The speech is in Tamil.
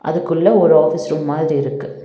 அதுக்குள்ள ஒரு ஆஃபீஸ் ரூம் மாதிரி இருக்கு.